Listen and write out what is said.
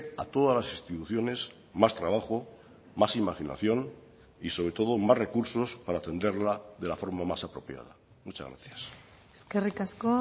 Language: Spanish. a todas las instituciones más trabajo más imaginación y sobre todo más recursos para atenderla de la forma más apropiada muchas gracias eskerrik asko